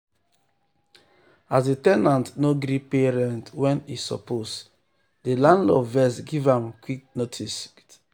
as the ten ant no gree pay rent when e suppose the landlord vex give am vex give am quit um notice.